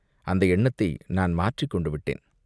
"அந்த எண்ணத்தை நான் மாற்றிக் கொண்டு விட்டேன்.